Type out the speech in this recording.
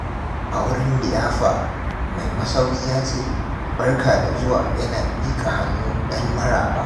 A wurin liyafa, mai masauki ya ce, "Barka da zuwa" yana miƙa hannu don maraba.